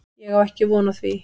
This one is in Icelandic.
Ég á ekki von á því.